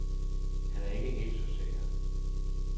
Han er ikke helt så sikker.